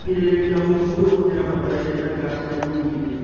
Kũgirĩrĩria ũbuthu ũyũ hũthĩra bataraitha ĩna kaciamu nyingĩ.